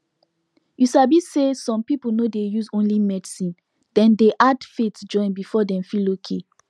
you sabi say some people no dey use only medicine dem dey add faith join before dem feel okay